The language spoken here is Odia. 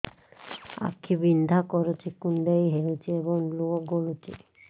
ଆଖି ବିନ୍ଧା କରୁଛି କୁଣ୍ଡେଇ ହେଉଛି ଏବଂ ଲୁହ ଗଳୁଛି